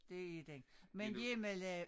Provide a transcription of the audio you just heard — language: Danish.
Det er den men hjemmelavet